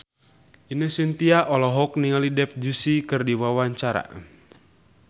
Ine Shintya olohok ningali Dev Joshi keur diwawancara